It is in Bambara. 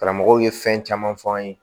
Karamɔgɔw ye fɛn caman fɔ an ye